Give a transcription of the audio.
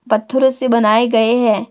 पत्थरों से बनाए गए है।